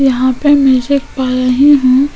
यहाँ पे पाया ही है --